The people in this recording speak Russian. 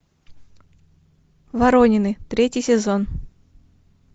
воронины третий сезон